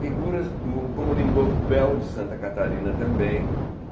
Figuras do...como Lindolfo Bell, de Santa Catarina também.